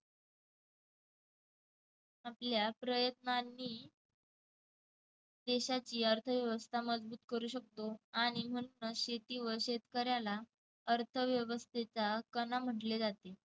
आपल्या प्रयत्नांनी देशाची अर्थव्यवस्था मजबूत करू शकतो आणि मस्त शेतीवर शेतकऱ्याला अर्थव्यवस्थेचा कणा म्हटले जाते.